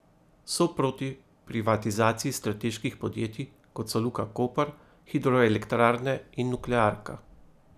So proti privatizaciji strateških podjetij, kot so Luka koper, hidroelektrarne in nuklearka.